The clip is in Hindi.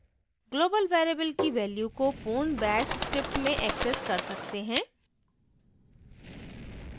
global variable की value को पूर्ण bash script में accessed कर सकते हैं